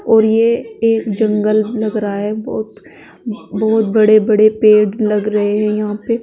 और ये एक जंगल लग रहा है बहोत बहोत बड़े बड़े पेड़ लग रहे हैं यहां पे।